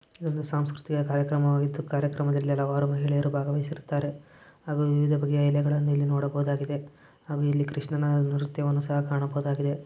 ಇದು ಸಾಂಸ್ಕೃತಿಕ ಕಾರ್ಯಕ್ರಮವಾಗಿತ್ತು. ಕಾರ್ಯಕ್ರಮದಲ್ಲಿ ಅವರು ಮಹಿಳೆಯರು ಭಾಗವಹಿಸುತ್ತಾರೆ ಹಾಗೂ ವಿವಿಧ ಬಗೆಗಳಲ್ಲಿ ನೋಡಬಹುದಾಗಿದೆ. ಆಮೇಲೆ ಕೃಷ್ಣನ ಮೂರ್ತಿಯನ್ನು ಸಹ ಕಾಣಬಹುದಾಗಿದೆ.